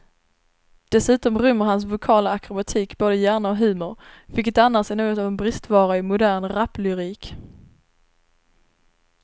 Dessutom rymmer hans vokala akrobatik både hjärna och humor, vilket annars är något av en bristvara i modern raplyrik.